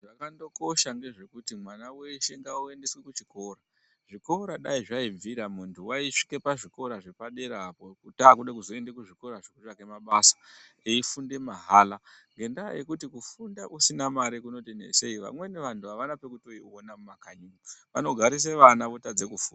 Zvakandokosha ngezvekuti mwana weshe ngaandoendeswe kuchikora. Zvikora dai zvaibvira, muntu aindosvika pazvikora zvepadera apo, takuda kuzoenda kuzvikora zvekutsvake mabasa, eifunda mahala. Ngendaa yekuti kufunda usina mari kunoti netsei, vamweni vantu avana pekutoiona mumakanyi, vanogarise vana votadze kufunda.